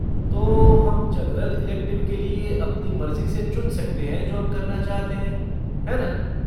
तो हम general elective के लिए अपनी मर्ज़ी से चुन सकते हैं जो हम करना चाहते हैं, है ना?